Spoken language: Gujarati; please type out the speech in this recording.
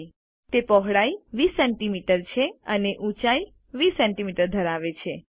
તે વિડ્થ પહોળાઈ 20 સીએમએસ છે અને હાઇટ ઊંચાઈ 20 સીએમએસ ધરાવે છે